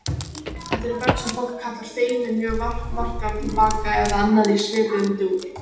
Þetta eru börn sem fólk kallar feimin, mjög varkár, tilbaka eða annað í svipuðum dúr.